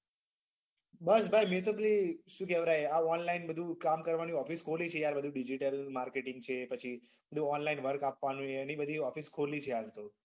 બસ ભાઈ મેં તો પેલી શું કેવરાય આ online બધું કામ કરવાની office ખોલી છે યાર બધું digital marketing છે પછી online work આપવાનું એની બધી office ખોલી છે હાલ તો.